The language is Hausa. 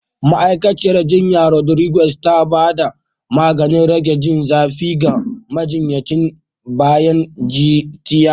Ma'aikaciyar jinya Rodriguez tana ba da maganin rage jin zafi ga majinyacin bayan tiyata.